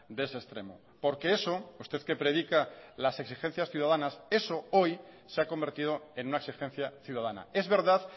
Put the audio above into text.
de ese extremo porque eso usted que predica las exigencias ciudadanas eso hoy se ha convertido en una exigencia ciudadana es verdad